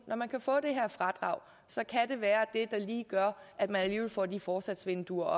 når man kan få det her fradrag i det være det der lige gør at man alligevel får de forsatsvinduer